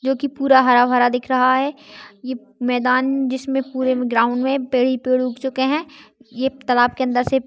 जो की पूरा हरा भरा दिख रहा है ये मैदान जिसमे पूरे ग्राउंड मे पेड़ ही पेड़ उग चुके हैं। ये तलाव के अंदर से--